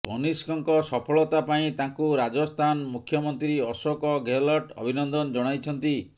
କନିଷ୍କଙ୍କ ସଫଳତା ପାଇଁ ତାଙ୍କୁ ରାଜସ୍ଥାନ ମୁଖ୍ୟମନ୍ତ୍ରୀ ଅଶୋକ ଗେହଲଟ ଅଭିନନ୍ଦନ ଜଣାଇଛନ୍ତି